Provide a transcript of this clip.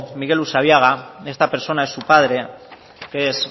miguel usabiaga esta persona es su padre que es